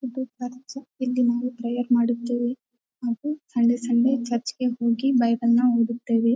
ಇದು ಚರ್ಚ್ ಇಲ್ಲಿ ನಾವು ಪ್ರೇಯರ್ ಮಾಡುತ್ತೇವೆ ಹಾಗು ಸಂಡೆ ಸಂಡೆ ಚರ್ಚ್ಗೆ ಹೋಗಿ ಬೈಬಲ್ ನ ಓದುತ್ತೇವೆ.